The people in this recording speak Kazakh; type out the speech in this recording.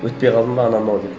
өтпей қалдым ба анау мынау деп